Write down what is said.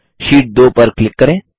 Sheet2 पर click करें